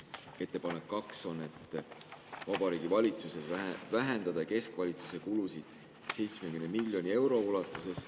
Ettepanek 2 on, et Vabariigi Valitsusel vähendada keskvalitsuse kulusid 70 miljoni euro ulatuses.